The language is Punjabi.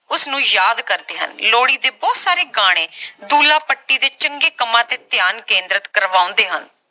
ਉਸ ਨੂੰ ਯਾਦ ਕਰਦੇ ਹਨ ਲੋਹੜੀ ਦੇ ਬਹੁਤ ਸਾਰੇ ਗਾਣੇ ਦੁੱਲਾ ਭੱਟੀ ਦੇ ਚੰਗੇ ਕੰਮਾਂ ਤੇ ਧਿਆਨ ਕੇਂਦਰਿਤ ਕਰਵਾਉਂਦੇ ਹਨ